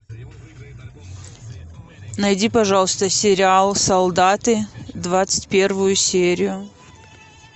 найди пожалуйста сериал солдаты двадцать первую серию